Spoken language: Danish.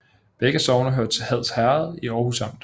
Begge sogne hørte til Hads Herred i Aarhus Amt